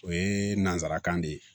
O ye nanzarakan de ye